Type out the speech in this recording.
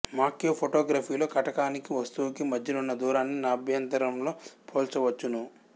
macro ఫోటోగ్రఫిలో కటకానికి వస్తువుకీ మధ్యనున్న దూరాన్ని నాభ్యంతరంతో పోల్చవచ్చును